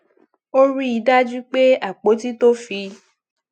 ó rí i dájú pé àpótí to fi